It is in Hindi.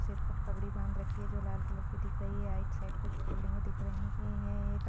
सिर पर पगड़ी बांध रखी है जो लाल कलर की दिख रही है राइट साइड कुछ बिल्डिंगे दिख रही है एक आद--